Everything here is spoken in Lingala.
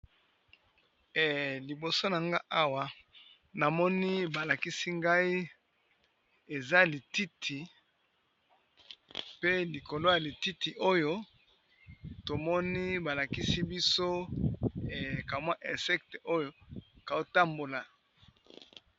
Liboso na nga awa namoni balakisi ngai eza lititi pe likolo ya lititi oyo tomoni balakisi biso ekamwa insecte oyo kotambola.